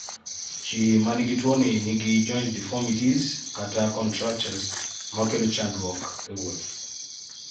ji manigi tuwoni nigi joint deformities(contractures)makelo chandruok e wuoth